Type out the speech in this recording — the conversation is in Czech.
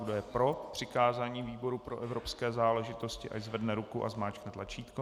Kdo je pro přikázání výboru pro evropské záležitosti, ať zvedne ruku a zmáčkne tlačítko.